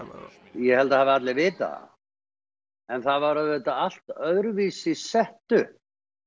ég held að allir hafi vitað það en það var auðvitað allt öðruvísi sett upp